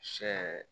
Sɛ